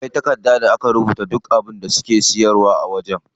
Akwai takarda da aka rubuta duk abincin da suke siyarwa a wajen.